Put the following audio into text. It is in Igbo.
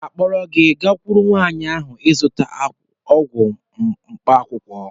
Aga m akpọrọ gị gakwuru nwaanyị ahụ ị zụta ọgwụ mkpaakwụkwọ